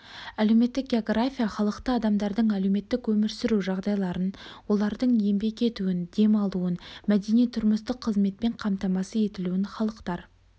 әлеуметтік география халықты адамдардың әлеуметтік өмір сүру жағдайларын олардың еңбек етуін дем алуын мәдени-тұрмыстық қызметпен қамтамасыз етілуін халықтар